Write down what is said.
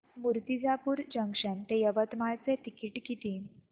Murtijapur junction ते यवतमाळ चे ticket किती